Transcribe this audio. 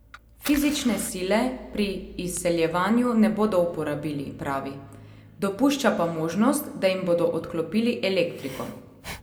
Fizične sile pri izseljevanju ne bodo uporabili, pravi, dopušča pa možnost, da jim bodo odklopili elektriko.